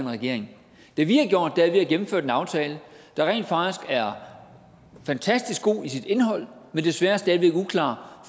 regering det vi har gjort er at vi har gennemført en aftale der rent faktisk er fantastisk god i sit indhold men desværre stadig væk uklar